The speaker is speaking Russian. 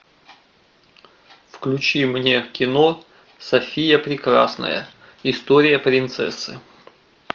включи мне кино софия прекрасная история принцессы